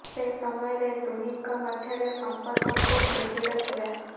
ସେ ସମୟରେ ଦୁହିଁଙ୍କ ମଧ୍ୟରେ ସଂପର୍କ ଖୁବ୍ ନିବିଡ଼ ଥିଲା